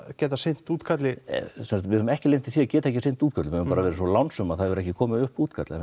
getað sinnt útkalli við höfum ekki lent í því að geta ekki sinnt útköllum við höfum verið svo lánsöm að það hefur ekki komið upp útkall en